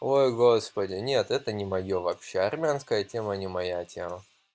ой господи нет это не моё вообще армянская тема не моя тема